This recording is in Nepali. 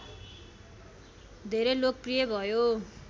धेरै लोकप्रिय भयो